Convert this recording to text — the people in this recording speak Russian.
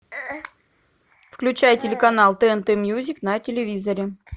включай телеканал тнт мьюзик на телевизоре